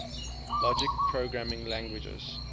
logic programming languages